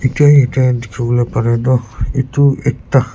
Etyahe etya dekhivole para tuh etu ekta--